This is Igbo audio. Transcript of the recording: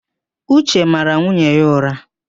Uche mara nwunye ya ụ̀rá.